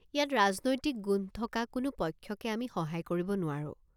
ইয়াত ৰাজনৈতিক গোন্ধ থকা কোনো পক্ষকে আমি সহায় কৰিব নোৱাৰোঁ।